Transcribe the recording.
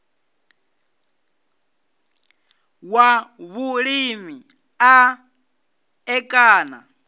wa vhulimi u ṋ ekana